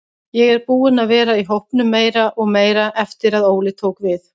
Ég er búinn að vera í hópnum meira og meira eftir að Óli tók við.